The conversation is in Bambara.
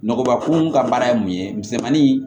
Nɔgɔba ko mun ka baara ye mun ye misɛnmani